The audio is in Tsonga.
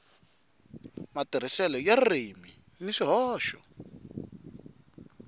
matirhiselo ya ririmi ni swihoxo